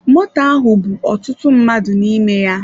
Moto ahụ bú ọtụtụ mmadụ n'ime ya.